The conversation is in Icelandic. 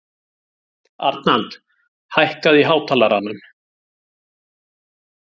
Arnald, hækkaðu í hátalaranum.